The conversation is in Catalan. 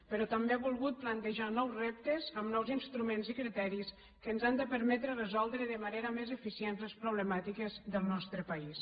però també ha volgut plantejar nous reptes amb nous instruments i criteris que ens han de permetre resoldre de manera més eficient les problemàtiques del nostre país